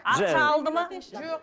ақша алды ма жоқ